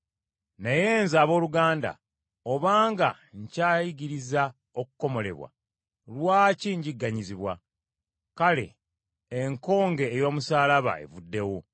Naye nze abooluganda, oba nga nkyayigiriza okukomolebwa, lwaki njigganyizibwa? Kale enkonge ey’omusaalaba evuddewo.